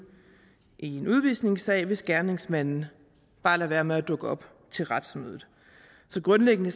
i en udvisningssag hvis gerningsmanden bare lader være med at dukke op til retsmødet så grundlæggende